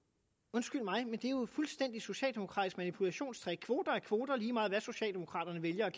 undskyld mig men det er jo fuldstændig et socialdemokratisk manipulationstrick kvoter er kvoter lige meget hvad socialdemokraterne vælger at